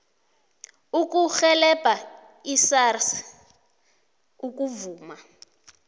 ukurhelebha isars ukuvuma